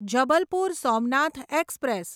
Jabalpur Somnath express